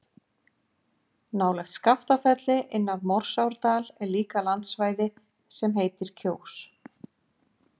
Nálægt Skaftafelli, inn af Morsárdal er líka landsvæði sem heitir Kjós.